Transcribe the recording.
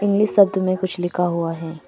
English शब्द में कुछ लिखा हुआ है।